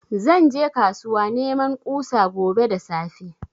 Zan je kasuwa neman kusa gobe da safe